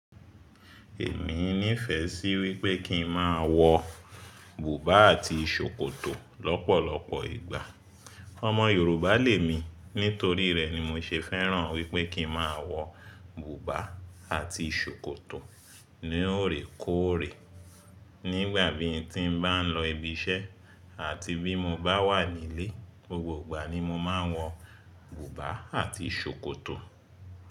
Èmi nífẹ̀ẹ́ sí wípé kín máa wọ bùbá àti ṣòkòtò lọ́pọ̀lọpọ̀ ìgbà. Ọmọ Yorùbá lè mi, nítorí rẹ̀ ni mo ṣe fẹ́ràn wípé kín máa wọ bùbá àti ṣòkòtò lóòrèkóòrè. Nígbà bí tí ń bá ń lọ ibi iṣẹ́ àti bí mo bá wà nílé, gbogbo ìgbà ni mo máa ń wọ bùbá àti ṣòkòtò.